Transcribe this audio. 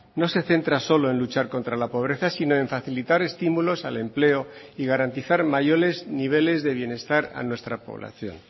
no se centra solo en luchar contra la pobreza sino en facilitar estímulos al empleo y garantizar mayores niveles de bienestar a nuestra población